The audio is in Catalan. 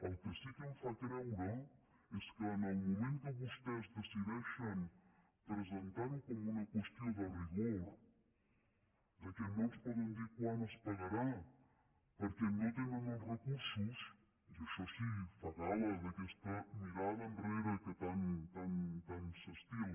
el que sí que em fa creure és que en el moment que vostès decideixen presentar ho com una qüestió de rigor que no ens poden dir quan es pagarà perquè no tenen els recursos i això sí fa gal·la d’aquesta mirada enrere que tant s’estila